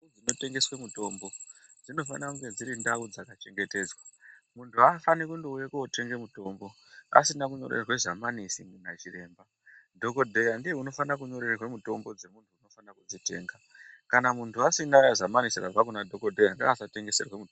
Munotengeswe mitombo dzinofana kunge dzirintau dzakachengetedzwa muntu haafani kuuya kutenga mutombo asina zamarese rabva kunadhokodheya madhokodheya ndiye anofana kunyora mutombo kumhunhu anode kuutenga.